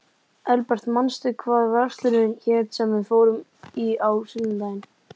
Elbert, manstu hvað verslunin hét sem við fórum í á sunnudaginn?